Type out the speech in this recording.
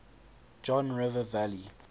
john river valley